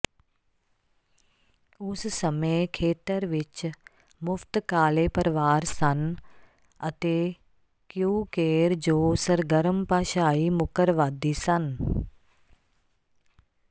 ਉਸ ਸਮੇਂ ਖੇਤਰ ਵਿੱਚ ਮੁਫਤ ਕਾਲੇ ਪਰਵਾਰ ਸਨ ਅਤੇ ਕਿਊਕੇਰ ਜੋ ਸਰਗਰਮ ਭਾਸ਼ਾਈ ਮੁੱਕਰਵਾਦੀ ਸਨ